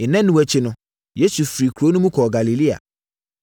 Nnanu akyi no, Yesu firii kuro no mu kɔɔ Galilea.